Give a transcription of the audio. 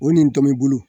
O nin tɔmɔ bolo